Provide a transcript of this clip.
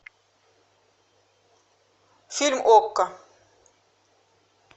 фильм окко